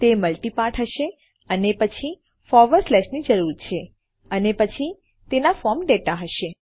તે multi part હશે અને પછી આપણને ફોરવર્ડ સ્લેશ ની જરૂર છે અને પછી તેના ફોર્મ ડેટા હશે